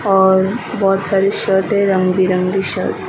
और बहोत सारी शर्ट रंग-बिरंगी शर्ट --